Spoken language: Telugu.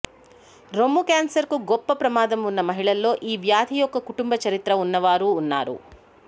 రొమ్ము క్యాన్సర్కు గొప్ప ప్రమాదం ఉన్న మహిళల్లో ఈ వ్యాధి యొక్క కుటుంబ చరిత్ర ఉన్నవారు ఉన్నారు